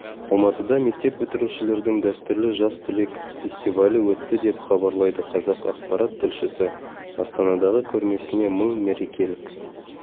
алматыда мектеп бітірушілердің дәстүрлі жас түлек фестивалі өтті деп хабарлайды қазақпарат тілшісі астанадағы көрмесіне мың мерекелік